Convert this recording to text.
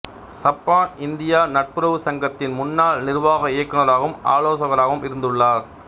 சப்பான் India நட்புறவு சங்கத்தின் முன்னாள் நிர்வாக இயக்குனராகவும் ஆலோசகராகவும் இருந்துள்ளார்